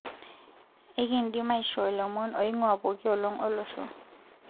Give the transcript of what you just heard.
enkindim aishoo ilomon oingua pookiolong olosho